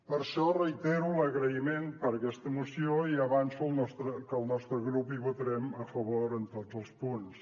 per això reitero l’agraïment per aquesta moció i avanço que el nostre grup hi votarem a favor en tots els punts